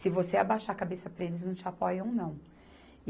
Se você abaixar a cabeça para eles, eles não te apoiam, não.